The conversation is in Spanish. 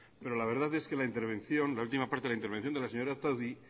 pero la verdad es que la intervención la última parte de la intervención de la señora otadui